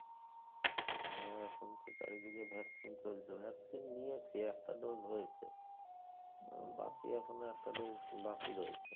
হ্যাঁ এখন তো চারিদিকে vaccine চলছে। vaccine নিয়েছি একটা dose হয়েছে। বাকি এখনো একটা dose বাকি রয়েছে।